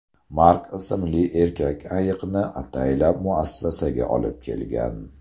Mark ismli erkak ayiqni ataylab muassasaga olib kelgan.